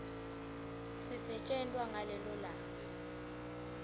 sisetjentwa ngalelo langa